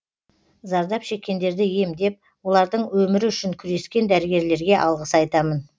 зардап шеккендерді емдеп олардың өмірі үшін күрескен дәрігерлерге алғыс айтамын